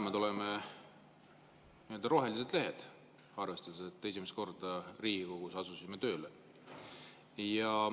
Me mõlemad oleme rohelised lehed, arvestades, et esimest korda Riigikogus asusime tööle.